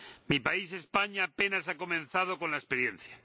Mi país, España, apenas ha comenzado con la experiencia.